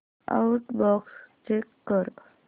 outbox check कर